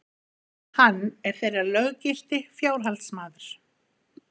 Hann er þeirra löggilti fjárhaldsmaður.